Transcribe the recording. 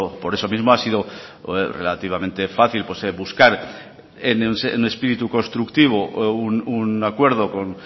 por eso mismo ha sido relativamente fácil buscar un espíritu constructivo o un acuerdo con